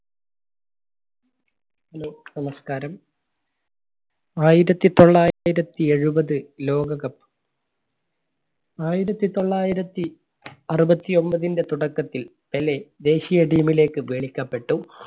hello, നമസ്കാരം. ആയിരത്തി തൊള്ളായിരത്തി എഴുപത് ലോക കപ്പ്. ആയിരത്തി തൊള്ളായിരത്തി അറുപത്തി ഒമ്പതിന്റെ തുടക്കത്തിൽ പെലെ ദേശീയ team ലേക്ക് ക്കപ്പെട്ടു.